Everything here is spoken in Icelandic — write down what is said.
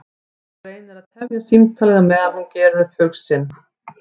Hún reynir að tefja símtalið á meðan hún gerir upp hug sinn.